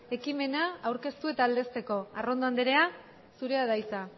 ekimena aurkeztu eta aldezteko arrondo anderea zurea da hitza